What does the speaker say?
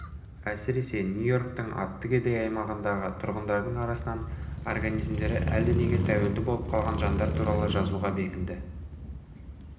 әсіресе нью-йорктың атты кедей аймағындағы тұрғындардың арасынан организмдері әлденеге тәуелді болып қалған жандар туралы жазуға бекінді